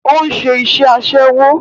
Ó ń ṣe iṣẹ́ Aṣẹ́wó